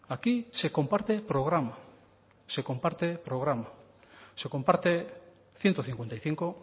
aquí se comparte programa se comparte programa se comparte ciento cincuenta y cinco